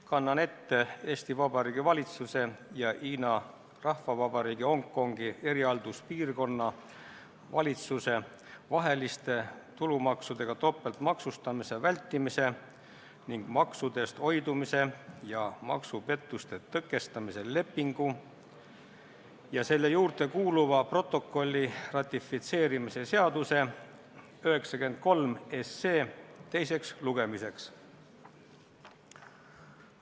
Kannan ette Eesti Vabariigi valitsuse ja Hiina Rahvavabariigi Hongkongi erihalduspiirkonna valitsuse vahelise tulumaksudega topeltmaksustamise vältimise ning maksudest hoidumise ja maksupettuste tõkestamise lepingu ja selle juurde kuuluva protokolli ratifitseerimise seaduse 93 eelnõu teiseks lugemiseks.